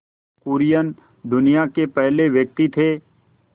कुरियन दुनिया के पहले व्यक्ति थे